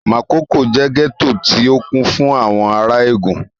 Makòko jẹ́ gẹ́tò tí ó kún fún àwọn ará Ègùn